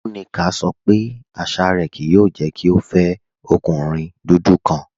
Nneka sọ pé àṣà rẹ kìí yòò jẹ́ kí o fẹ ọ̀kùnrin dúdú kan